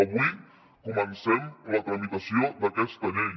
avui comencem la tramitació d’aquesta llei